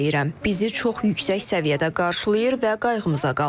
Bizi çox yüksək səviyyədə qarşılayır və qayğımıza qalırlar.